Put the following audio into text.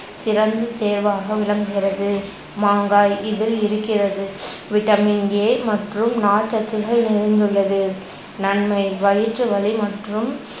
சிறந்த தேர்வாக விளங்குகிறது. மாங்காய் இதில் இருக்கிறது vitamin A மற்றும் நார்ச்சத்துகள் இணைந்துள்ளது. நன்மை வயிற்றுவலி மற்றும்